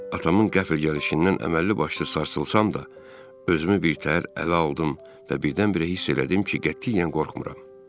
Atamın qəfil gəlişindən əməlli başlı sarsılsam da, özümü birtəhər ələ aldım və birdən-birə hiss elədim ki, qətiyyən qorxmuram.